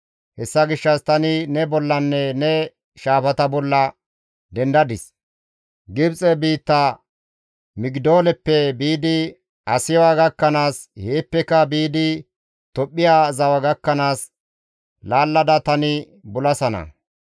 Hessa gishshas tani ne bollanne ne shaafata bolla dendadis; Gibxe biitta Migidooleppe biidi Asiwa gakkanaas, heeppeka biidi Tophphiya zawa gakkanaas laallada tani bulasana.